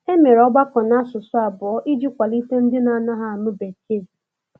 E mere ọgbakọ n'asụsụ abụọ iji kwalite ndị na - anaghị anụ bekee.